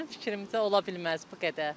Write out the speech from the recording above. Mənim fikrimcə, olmaz bu qədər.